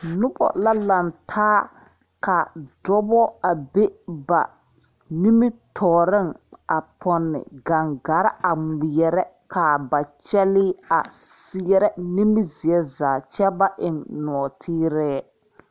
Noba la laŋ taa ka dɔba a be ba nimitɔɔreŋ a pɔnne gangare a ŋmeɛrɛ k,a ba kyɛlee a seɛrɛ nimizeɛ zaa kyɛ baeŋ nɔɔteɛ.